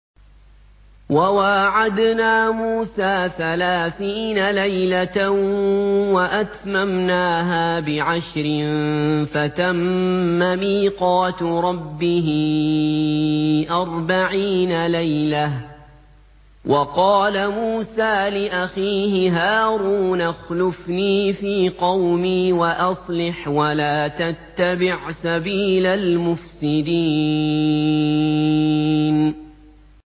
۞ وَوَاعَدْنَا مُوسَىٰ ثَلَاثِينَ لَيْلَةً وَأَتْمَمْنَاهَا بِعَشْرٍ فَتَمَّ مِيقَاتُ رَبِّهِ أَرْبَعِينَ لَيْلَةً ۚ وَقَالَ مُوسَىٰ لِأَخِيهِ هَارُونَ اخْلُفْنِي فِي قَوْمِي وَأَصْلِحْ وَلَا تَتَّبِعْ سَبِيلَ الْمُفْسِدِينَ